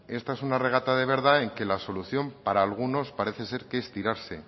esta es una regata de verdad en que la solución para algunos parece ser que es tirarse